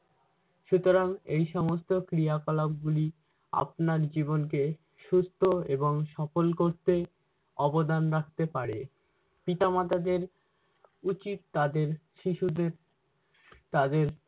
সুতরাং এসমস্ত ক্রিয়াকলাপগুলি আপনার জীবনকে সুস্থ এবং সফল করতে অবদান রাখতে পারে। পিতামাতাদের উচিত তাদের শিশুদের তাদের